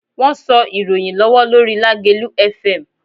Wọ́n sọ ìròyìn lọ́wọ́ lórí Lágelú Fm.